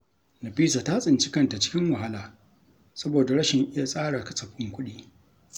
Nafisa ta tsinci kanta cikin wahala saboda rashin iya tsara kasafin kuɗi.